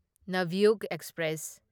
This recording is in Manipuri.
ꯅꯚ꯭ꯌꯨꯒ ꯑꯦꯛꯁꯄ꯭ꯔꯦꯁ